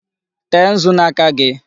Tee nzu n'aka gị!